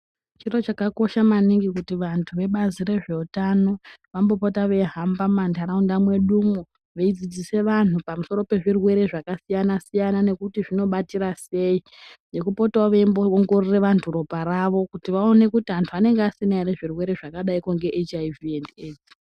Chiro chakakosha maningi kuti vantu vebazi rezvehutano vanopota mundaraunda medumwo vanopota veidzidzisa vanhu pamusoro pezvirwere zvakasiyana siyana nekuti zvinobatsira sei nekupota veiona kuti vantu vanenge vasina zvirwere zvakaita seHIV and AIDS.